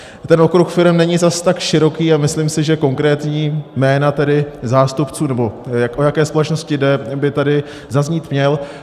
Ten okruh firem není zas tak široký a myslím si, že konkrétní jména tedy zástupců, nebo o jaké společnosti jde, by tady zaznít měl.